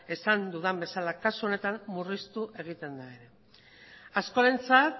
esan dudan bezala kasu honetan murriztu egiten da ere askorentzat